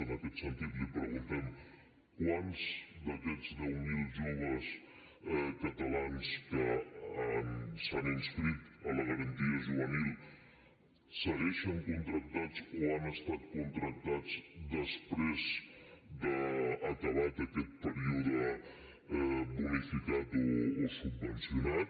en aquest sentit li preguntem quants d’aquests deu mil joves catalans que s’han inscrit a la garantia juvenil segueixen contractats o han estat contractats després d’acabat aquest període bonificat o subvencionat